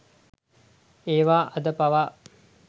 ඒවා අද පවා